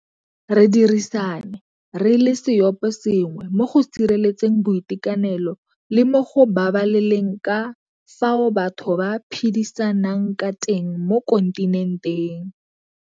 Re dirisane re le seoposengwe mo go sireletseng boitekanelo le mo go babaleleng ka fao batho ba iphedisang ka teng mo kontinenteng.